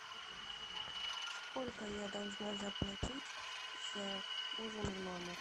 сколько я должна заплатить за ужин в номер